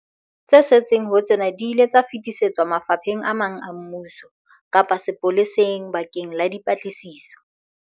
Tse setseng ho tsena di ile tsa fetisetswa mafapheng a mang a mmuso kapa sepoleseng bakeng la dipatlisiso.